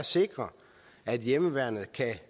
sikre at hjemmeværnet kan